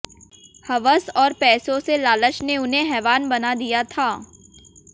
हवस और पैसों से लालच ने उन्हें हैवान बना दिया था